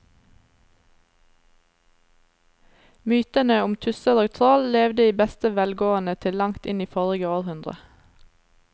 Mytene om tusser og troll levde i beste velgående til langt inn i forrige århundre.